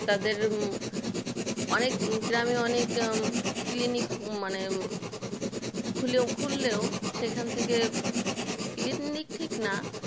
তাদের অনেক গ্রামে অনেক জন ক্লিনিক মানে খুললেও সেই খান থেকে ক্লিনিক ঠিক না